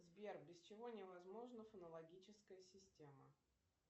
сбер без чего невозможна фонологическая система